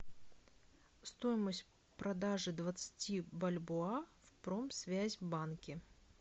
стоимость продажи двадцати бальбоа в промсвязьбанке